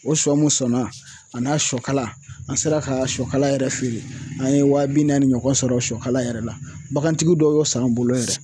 O sɔ mun sɔnna a n'a sɔkala an sera ka sɔkala yɛrɛ feere. An ye wa bi naani ɲɔgɔn sɔrɔ sɔkala yɛrɛ la. Bagantigi dɔ y'o s'an bolo yan.